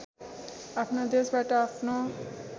आफ्ना देशबाट आफ्नो